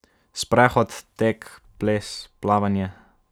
Sprehod, tek, ples, plavanje ...